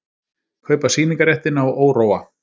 Kaupa sýningarréttinn á Óróa